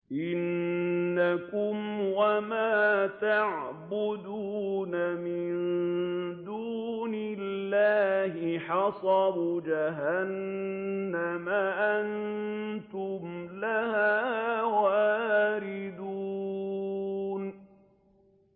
إِنَّكُمْ وَمَا تَعْبُدُونَ مِن دُونِ اللَّهِ حَصَبُ جَهَنَّمَ أَنتُمْ لَهَا وَارِدُونَ